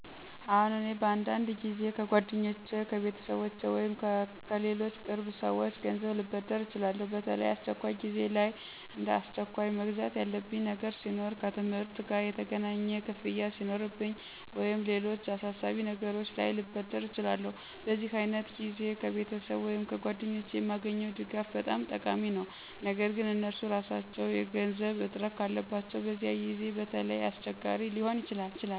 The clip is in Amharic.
አዎን፣ እኔ በአንዳንድ ጊዜ ከጓደኞቼ፣ ከቤተሰቤ ወይም ከሌሎች ቅርብ ሰዎች ገንዘብ ልበድር እችላለሁ። በተለይ አስቸኳይ ጊዜዎች ላይ፣ እንደ አስቸኳይ መግዛት ያለብኝ ነገር ሲኖር፣ ከትምህርት ጋ የሚገናኝ ክፍያ ሱኖርብኝ ወይም ሌሎች አሳሳቢ ነገሮች ላይ ልበደር እችላለሁ። በዚህ ዓይነት ጊዜ ከቤተሰብ ወይም ከጓደኞቼ የማገኘው ድጋፍ በጣም ጠቃሚ ነው። ነገር ግን እነርሱ ራሳቸው የገንዘብ እጥረት ካላቸው በዚያ ጊዜ በተለይ አስቸጋሪ ሊሆን ይችላል።